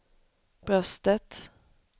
bröstet